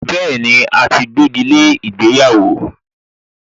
Bẹ́ẹ̀ni, a ti gbégi lé ìgbéyàwó